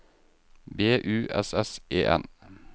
B U S S E N